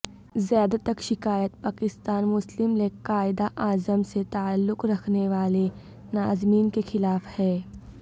زیادہ تک شکایات پاکستان مسلم لیگ قائداعظم سے تعلق رکھنے والے ناظمین کے خلاف ہیں